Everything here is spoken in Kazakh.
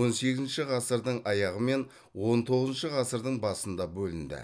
он сегізінші ғасырдың аяғы мен он тоғызыншы ғасырдың басында бөлінді